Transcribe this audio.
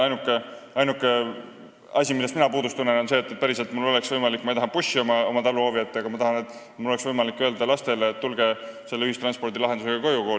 Ainuke asi, millest mina puudust tunnen, on see – ma ei taha bussi oma taluhoovi –, et mul oleks võimalik päriselt öelda lastele, et tulge selle ühistranspordilahendusega koolist koju.